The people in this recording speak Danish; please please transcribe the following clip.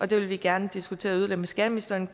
det vil vi gerne diskutere yderligere med skatteministeren